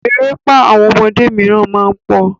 Erépá àwọn ọmọdé míràn má ń pọ̀.